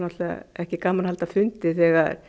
ekkert gaman að halda fundi þegar